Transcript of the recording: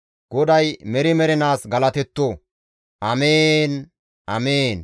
GODAY meri mernaas galatetto! Amiin! Amiin.